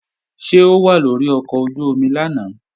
Ṣé o wà lórí ọkọ̀ ojú-omi lánàá?